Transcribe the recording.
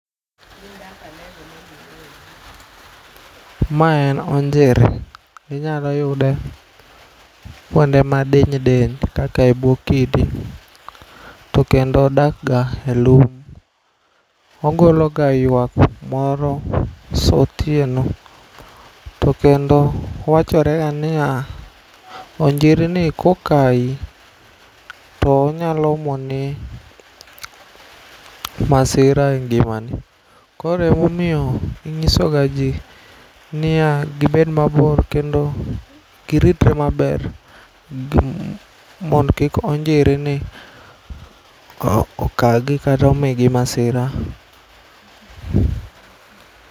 Ma en onjiri. Inyalo yude kuonde madiny diny kaka e buo kidi to kendo odakga e lum. Ogologa yuak moro saa otieno tokendo wachorega niya onjirini kokayi tonyalo omoni masira e ngimani. Koro emomiyo inyisogaji niya gibed mabor kendo giritre maber gi, mondo kik onjirini okagi kata omigi masira.